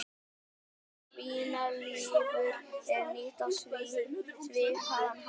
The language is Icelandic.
Svínalifur er nýtt á svipaðan hátt.